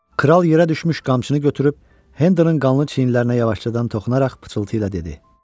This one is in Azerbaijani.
Kral yerə düşmüş qamçını götürüb Hendonın qanlı çiyinlərinə yavaşcadan toxunaraq pıçıltı ilə dedi.